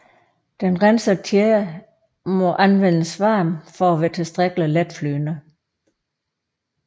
Den rensede tjære må anvendes varm for at være tilstrækkelig letflydende